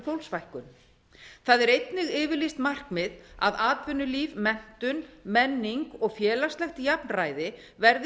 fólksfækkun það er einnig yfirlýst markmið að atvinnulíf menntun menning og félagslegt jafnræði verði